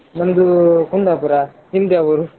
ನಮ್ದು Kundapur ನಿಮ್ದ್ಯಾವೂರು?